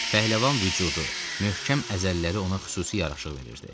Pəhləvan vücudu, möhkəm əzələləri ona xüsusi yaraşıq verirdi.